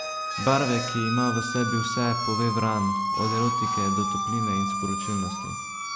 Barve, ki ima v sebi vse, pove Vran, od erotike do topline in sporočilnosti.